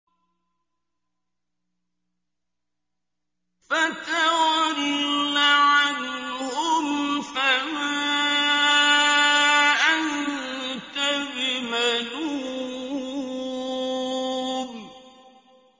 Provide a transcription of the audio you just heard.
فَتَوَلَّ عَنْهُمْ فَمَا أَنتَ بِمَلُومٍ